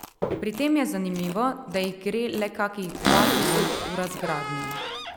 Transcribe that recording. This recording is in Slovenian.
Pri tem je zanimivo, da jih gre le kakih dva tisoč v razgradnjo.